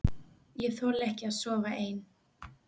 Ég þoli ekki að sofa ein.